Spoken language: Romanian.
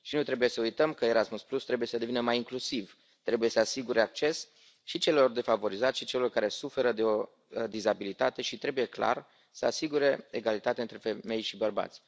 Și nu trebuie să uităm că Erasmus trebuie să devină mai incluziv, trebuie să asigure acces și celor defavorizați și celor care suferă de o dizabilitate și trebuie clar să asigure egalitate între femei și bărbați.